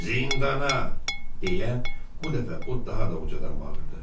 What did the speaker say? Zindana deyə bu dəfə o daha da ucadan bağırdı.